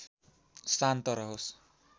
शान्त रहोस्